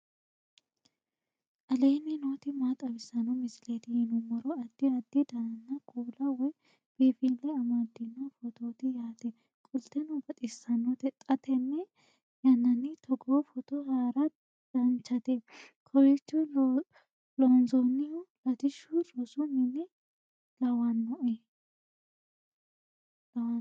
aleenni nooti maa xawisanno misileeti yinummoro addi addi dananna kuula woy biinfille amaddino footooti yaate qoltenno baxissannote xa tenne yannanni togoo footo haara danchate kowiicho loonsoonnihu latishu rosu mine lawannoe